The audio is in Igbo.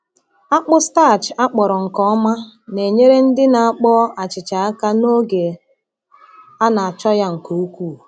Akpụ starch akpọrọ nke ọma na-enyere ndị na-akpọ achịcha aka n’oge a na-achọ ya nke ukwuu.